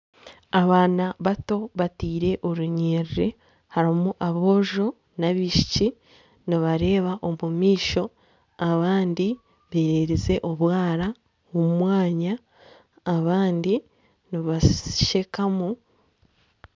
Abaana bato bateire orunyiriri harimu aboojo n'abaishiki nibareeba omu maisho abandi beererize obwara omu mwanya abandi nibashekamu .